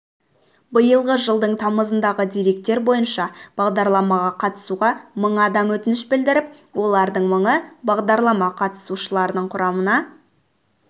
биылғы жылдың тамызындағы деректер бойынша бағдарламаға қатысуға мың адам өтініш білдіріп олардың мыңы бағдарлама қатысушыларының құрамына